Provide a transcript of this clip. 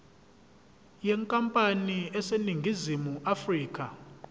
yenkampani eseningizimu afrika